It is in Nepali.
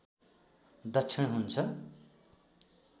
दक्षिण हुन्छ